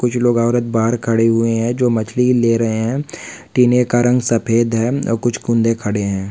कुछ लोग औरत बाहर खड़े हुए है जो मछली ले रहे है टिने का रंग शफेद है और कुछ केंदु कड़े है।